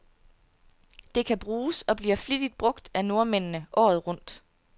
Det kan bruges, og bliver flittigt brug af nordmændene, året rundt.